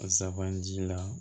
Safan ji la